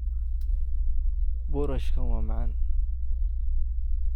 Boorashkan waa macaan.